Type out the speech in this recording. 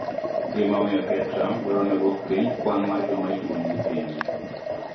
Gima omiyo Ker Trump dwaro ni odwok piny kwan mar joma itimonegi pim